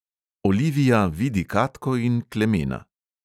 Olivia vidi katko in klemena.